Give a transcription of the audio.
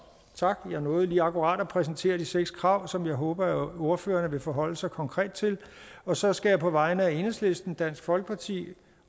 tak jeg nåede lige akkurat at præsentere de seks krav som jeg håber at ordførererne vil forholde sig konkret til og så skal jeg på vegne af enhedslisten dansk folkeparti